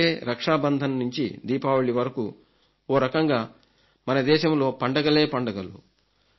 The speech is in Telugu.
ఇప్పుడైతే రక్షాబంధన్ నుంచి దీపావళి వరకు ఓ రకంగా మన దేశంలో పండగలే పండుగలు